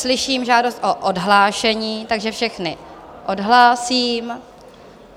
Slyším žádost o odhlášení, takže všechny odhlásím.